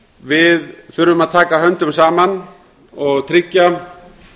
við þurfum að taka höndum saman og tryggja